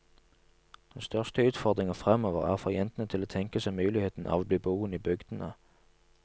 Den største utfordringen fremover er å få jentene til å tenke seg muligheten av å bli boende i bygdene.